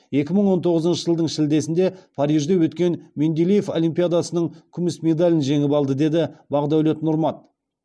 екі мың он тоғызыншы жылдың шілдесінде парижде өткен менделеев олимпиадасының күміс медалін жеңіп алды деді бағдәулет нұрмат